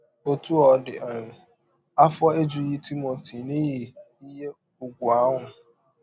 Ọtụ ọ dị um, afọ ejụghị Timọti n’ihi ihe ụgwụ ahụ.